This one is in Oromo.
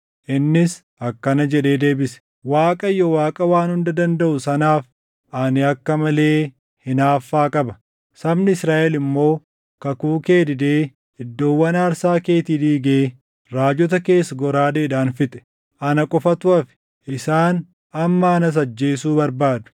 Innis akkana jedhee deebise; “ Waaqayyo Waaqa Waan Hunda Dandaʼu sanaaf ani akka malee hinaaffaa qaba. Sabni Israaʼel immoo kakuu kee didee iddoowwan aarsaa keetii diigee raajota kees goraadeedhaan fixe. Ana qofatu hafe; isaan amma anas ajjeesuu barbaadu.”